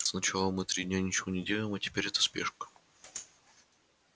сначала мы три дня ничего не делаем а теперь эта спешка